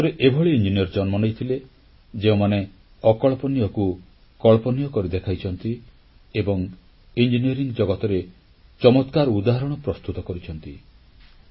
ଭାରତରେ ଏଭଳି ଇଞ୍ଜିନିୟର ଜନ୍ମ ନେଇଥିଲେ ଯେଉଁମାନେ ଅକଳ୍ପନୀୟକୁ କଳ୍ପନୀୟ କରି ଦେଖାଇଛନ୍ତି ଏବଂ ଇଞ୍ଜିନିୟରିଂ ଜଗତରେ ଚମତ୍କାର ଉଦାହରଣ ପ୍ରସ୍ତୁତ କରିଛନ୍ତି